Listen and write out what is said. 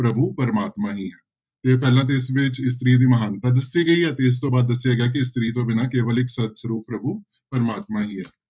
ਪ੍ਰਭੂ ਪ੍ਰਮਾਤਮਾ ਹੀ ਹੈ ਤੇ ਪਹਿਲਾਂ ਤੇ ਇਸ ਵਿੱਚ ਇਸਤਰੀ ਦੀ ਮਹਾਨਤਾ ਦੱਸੀ ਗਈ ਹੈ ਤੇ ਇਸ ਤੋਂ ਬਾਅਦ ਦੱਸਿਆ ਗਿਆ ਕਿ ਇਸਤਰੀ ਤੋਂ ਬਿਨਾਂ ਕੇਵਲ ਇੱਕ ਪ੍ਰਭੂ ਪ੍ਰਮਾਤਮਾ ਹੀ ਹੈ।